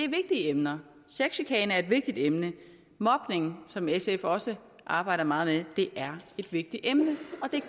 emner sexchikane er et vigtigt emne mobning som sf også arbejder meget med er et vigtigt emne